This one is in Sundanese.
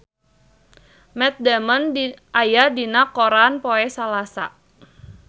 Matt Damon aya dina koran poe Salasa